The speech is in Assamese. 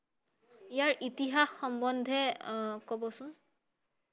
ইয়াৰ ইতিহাস সম্বন্ধে আহ কবচোন৷